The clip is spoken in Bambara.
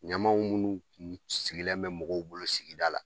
Ɲamanw munnu tun sigilen bɛ mɔgɔw bolo sigida la